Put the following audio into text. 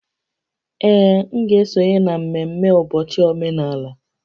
Ee, m ga-esonye na ememme ụbọchị omenala